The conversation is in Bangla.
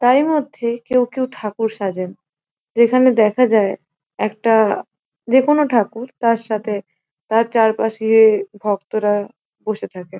তারই মধ্যে কেও কেও ঠাকুর সাজেন । যেখানে দেখা যায় একটা যেকোনো ঠাকুর তার সাথে তার চারপাশে গিয়ে ভক্তরা বসে থাকে ।